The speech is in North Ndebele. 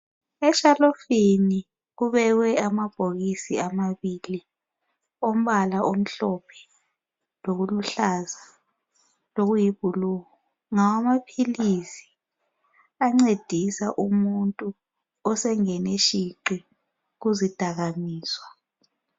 Eshelufini kubekwe amabhokisi amabili ombala omhlophe lokuluhlaza lokuyiblue. Ngawamaphilisi ancedisa umuntu osengene shiqi kuzidakamizwa.